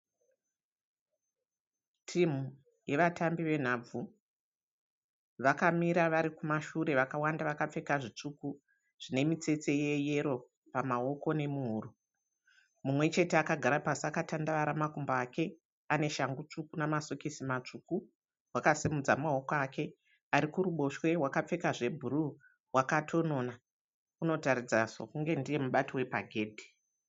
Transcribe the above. Timu yevatambi yenhabvu. Vakamira vari kumashure vakawanda vakapfeka zvitsvuku zvine mitsetse yeyero pamawoko nemuhuro. Mumwe chete akagara pasi akatandavara makumbo ake. Ane shangu tsvuku nemasokisi matsvuku. Wakasumudza mawoko ake. Ari kuruboshwe wakapfeka zvebhuruu akatonona. Unotaridza sekunge ndiye mubati wepagedhi.